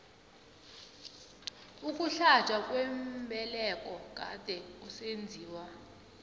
ukuhlatjwa kwembeleko kade kusenziwa